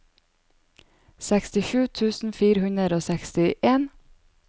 sekstisju tusen fire hundre og seksten